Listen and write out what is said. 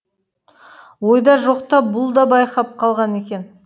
ойда жоқта бұл да байқап қалған екен